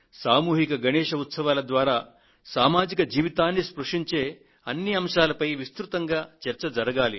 సామూహిక గణేశ్ ఉత్సవాల ద్వారా సామాజిక జీవితాన్ని స్పృశించే అన్ని అంశాలపైన విస్తృత చర్చ జరగాలి